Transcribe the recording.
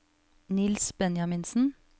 Niels Benjaminsen